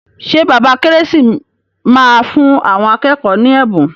Ṣé bàbá Kérésì máa fún àwọn akẹ́kọ̀ọ́ ní ẹ̀bùn.